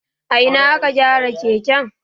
A ina aka gyara keken?